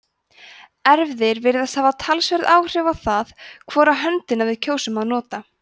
erfðir virðast hafa talsverð áhrif á það hvora höndina við kjósum að nota